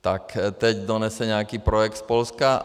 Tak teď donese nějaký projekt z Polska.